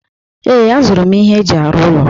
Ee, azụrụ m ihe eji arụ ụlọ.